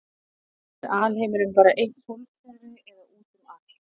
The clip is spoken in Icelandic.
er alheimurinn bara eitt sólkerfi eða útum allt